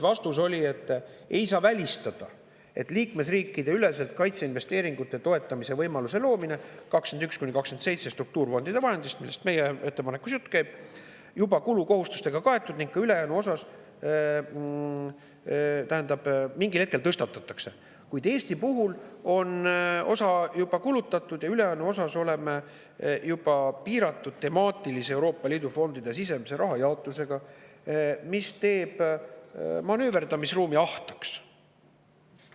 Vastus oli, et ei saa välistada, et liikmesriikideüleselt kaitseinvesteeringute toetamise võimaluse loomise 2021.–2027. aasta struktuurifondide vahenditest, millest meie ettepanekus jutt käib, mingil hetkel tõstatatakse, kuid Eestil on osa juba kulutatud ja ülejäänus oleme piiratud temaatilise Euroopa Liidu fondide sisemise rahajaotusega, mis teeb manööverdamisruumi ahtaks.